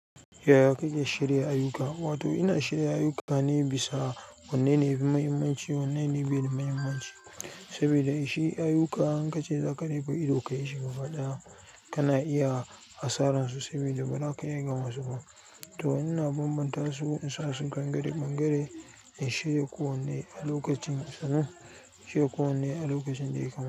Yaya kake shirya ayyuka, wato ina shirya ayyuka ne bisa wanne ne yafi mahimmanci, wanne ne baida mahimmanci. Saboda shi ayyuka in ka ce za ka dai koyi ido ka yi shi gabaɗaya, kana iya asaran su saboda ba za ka iya gama su ba. To ina banban tasu in sasu ɓangare ɓangare in shirya kowanne a lokacin da ya kamata.